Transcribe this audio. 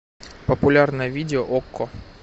популярное видео окко